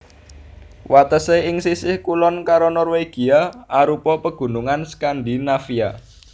Watesé ing sisih kulon karo Norwegia arupa Pegunungan Skandinavia